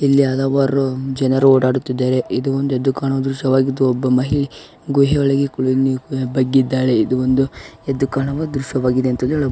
ಇಲ್ಲಿ ಹಲವಾರು ಜನರು ಓಡಾಡುತ್ತಿದ್ದಾರೆ ಇದು ಒಂದು ಎದ್ದು ಕಾಣುವ ದೃಶ್ಯವಾಗಿದ್ದುಒಬ್ಬ ಮಹಿಳೆ ಗುಹೆಯಲ್ಲಿ ಬಗ್ಗಿದ್ದಾಳೆ ಇದು ಒಂದು ಎದ್ದು ಕಾಣುವ ದೃಶ್ಯವಾಗಿದೆ ಎಂದು ಕೂಡ ಹೇಳಬಹುದು.